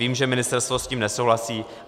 Vím, že ministerstvo s tím nesouhlasí.